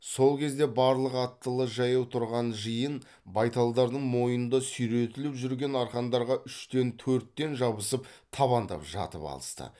сол кезде барлық аттылы жаяу тұрған жиын байталдардың мойнында сүйретіліп жүрген арқандарға үштен төрттен жабысып табандап жатып алысты